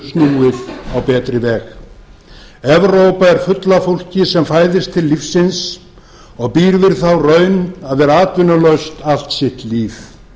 snúið á betri veg evrópa er full af fólki sem fæðist til lífsins og býr við þá raun að vera atvinnulaus allt sitt líf